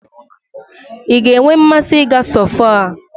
I ga-enwe mmasị ị ga sọfoa